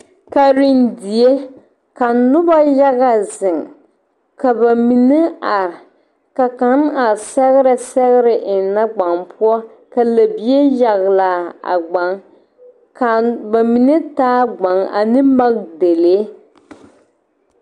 Karendie ka noba yaga zeŋ ka ba mine are ka kaŋ a sɛgrɛ sɛgre eŋnɛ gbane poɔ ka lɛbie yagle a a gbane ka ba mine taa gbane ane makidalee.